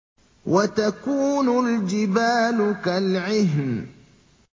وَتَكُونُ الْجِبَالُ كَالْعِهْنِ